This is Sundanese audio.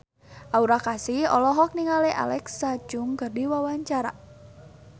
Aura Kasih olohok ningali Alexa Chung keur diwawancara